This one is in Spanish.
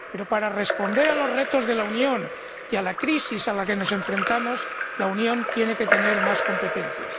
Pero, para responder a los retos de la Unión y a la crisis a la que nos enfrentamos, la Unión tiene que tener más competencias.